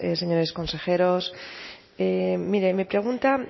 señores consejeros mire mi pregunta